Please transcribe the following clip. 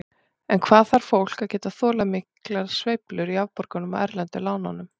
En hvað þarf fólk að geta þolað miklar sveiflur í afborgunum af erlendu lánunum?